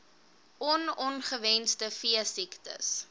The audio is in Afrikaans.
on ongewenste veesiektes